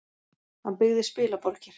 Hann byggði spilaborgir.